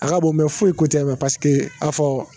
A ka bon foyi ko tɛ a fɔ